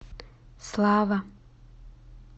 слава